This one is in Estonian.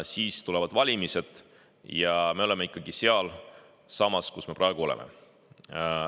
Siis tulevad valimised ja me oleme ikkagi sealsamas, kus me praegu oleme.